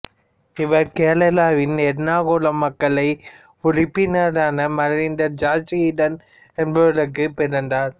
இவர் கேரளாவின் எர்ணாகுளம் மக்களை உருப்பினரான மறைந்த ஜார்ஜ் ஈடன் என்பவருக்குப் பிறந்தார்